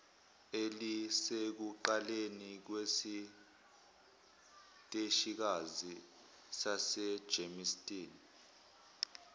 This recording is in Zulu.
elisekuqaleni kwesiteshikazi sasegermiston